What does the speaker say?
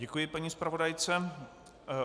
Děkuji paní zpravodajce.